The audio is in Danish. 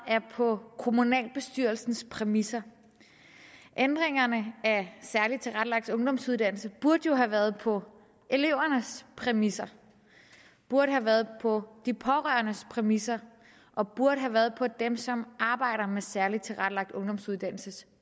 er på kommunalbestyrelsens præmisser ændringerne af særligt tilrettelagt ungdomsuddannelse burde jo have været på elevernes præmisser burde have været på de pårørendes præmisser og burde have været på dem som arbejder med særligt tilrettelagt ungdomsuddannelses